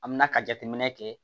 An mina ka jateminɛ kɛ